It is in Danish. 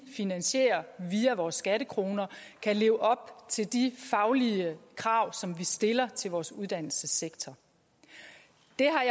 finansieres via vores skattekroner kan leve op til de faglige krav som vi stiller til vores uddannelsessektor det